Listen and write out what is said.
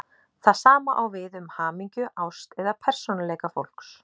Það sama á við um hamingju, ást eða persónuleika fólks.